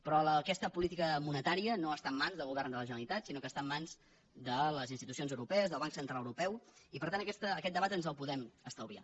però aquesta política monetària no està en mans del govern de la generalitat sinó que està en mans de les institucions europees del banc central europeu i per tant aquest debat ens el podem estalviar